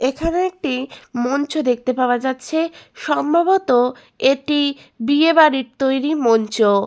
এখানে একটি মঞ্চ দেখতে পাওয়া যাচ্ছে সম্ভবত এটি বিয়ে বাড়ির তৈরি মঞ্চ।